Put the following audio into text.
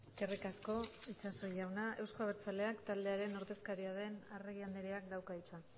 eskerrik asko itxaso jauna euzko abertzaleak taldearen ordezkaria den arregi andreak dauka hitza